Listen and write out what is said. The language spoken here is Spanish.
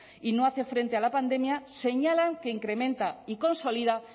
y no hace frente a la pandemia señalan que incrementa y consolida